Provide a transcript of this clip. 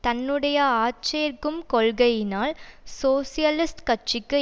தன்னுடைய ஆட்சேர்க்கும் கொள்கையினால் சோசியலிஸ்ட் கட்சிக்கு